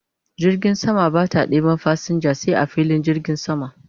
Jirgin sama Bata ɗeban fasinja sai a filin jirgin sama